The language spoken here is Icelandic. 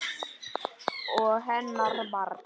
Og hennar barn.